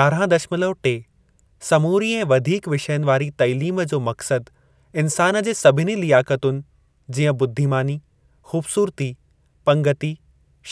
यारहां दशमलव टे, समूरी ऐं वधीक विषयनि वारी तालीम जो मक़सदु इंसान जे सभिनी लियाकतुनि जीअं बुद्धीमानी, ख़ूबसूरती, पंगिती,